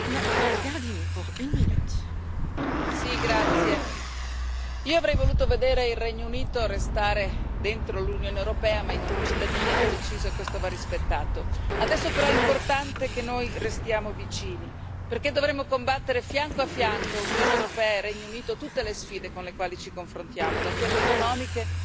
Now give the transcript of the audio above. Signora Presidente, onorevoli colleghi, avrei voluto vedere il Regno Unito restare dentro l'Unione europea ma i cittadini hanno deciso e questo va rispettato. Adesso però è importante che noi restiamo vicini, perché dovremo combattere fianco a fianco, Unione europea e Regno Unito, tutte le sfide con le quali ci confrontiamo, da quelle economiche al terrorismo.